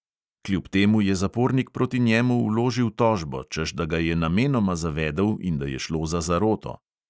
Kljub temu je zapornik proti njemu vložil tožbo, češ da ga je namenoma zavedel in da je šlo za zaroto.